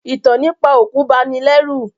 Ìtàn nípa òkú bani lẹ́rù